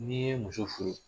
N'i ye muso furu